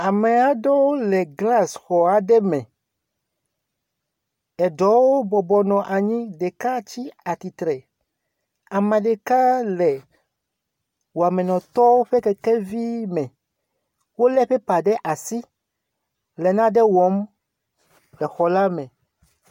Amɛ aɖewo le glasxɔ aɖe me eɖewo bɔbɔnɔ anyi ɖeka tsi atitre ameɖeka le wɔmɛnɔtɔwo ƒe kɛkɛ vi me wóle pɛpa ɖe asi le naɖe wɔm le xɔ la me